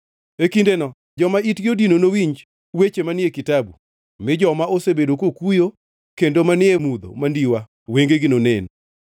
E kindeno joma itgi odino nowinj weche manie kitabu, mi joma osebedo kokuyo, kendo manie mudho mandiwa wengegi nonen.